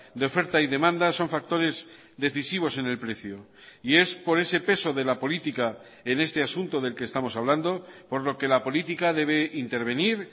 de oferta y demanda son factores decisivos en el precio y es por ese peso de la política en este asunto del que estamos hablando por lo que la política debe intervenir